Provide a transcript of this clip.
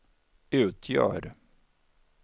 utgör